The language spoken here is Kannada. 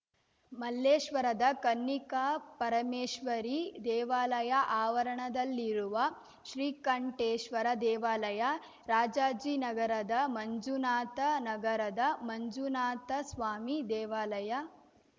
ಮಲ್ಲೇಶ್ವರದ ಕನ್ನಿಕಾಪರಮೇಶ್ವರಿ ದೇವಾಲಯ ಆವರಣದಲ್ಲಿರುವ ಶ್ರೀಕಂಠೇಶ್ವರ ದೇವಾಲಯ ರಾಜಾಜಿನಗರದ ಮಂಜುನಾಥ ನಗರದ ಮಂಜುನಾಥಸ್ವಾಮಿ ದೇವಾಲಯ